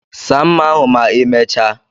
Saa mma ahu ma imechaa